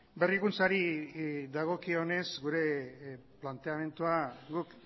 berrikuntzari dagokionez gure planteamendua guk